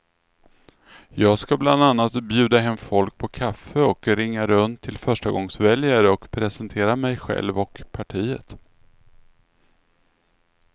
Jag ska bland annat bjuda hem folk på kaffe och ringa runt till förstagångsväljare och presentera mig själv och partiet.